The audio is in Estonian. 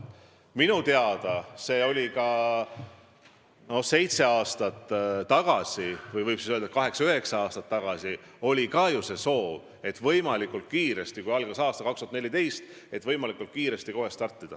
Minu teada seitse aastat tagasi – või ehk võib öelda, et kaheksa-üheksa aastat tagasi – oli ju ka soov võimalikult kiiresti, kui algas aasta 2014, kohe startida.